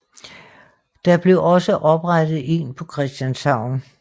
Der blev også oprettet en på Christianshavn